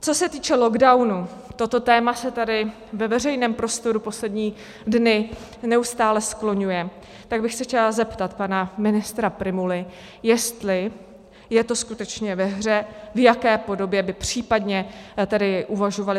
Co se týče lockdownu, toto téma se tady ve veřejném prostoru poslední dny neustále skloňuje, tak bych se chtěla zeptat pana ministra Prymuly, jestli je to skutečně ve hře, v jaké podobě by případně tedy uvažovali.